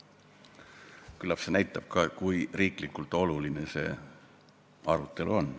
Küllap see näitab, kui riiklikult oluline see arutelu on.